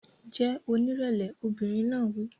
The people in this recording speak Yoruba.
Jẹ́ onírẹ̀lẹ̀! Obìnrin náà wí.